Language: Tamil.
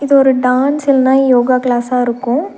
ஒரு டான்ஸ் இல்லன்னா யோகா கிளாஸ்ஸா இருக்கும்.